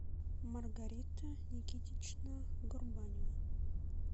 маргарита никитична горбанева